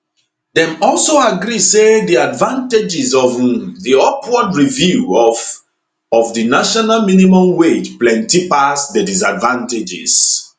dem also agree say di advantages of um di upward review of of di national minimum wage plenty pass di disadvantages um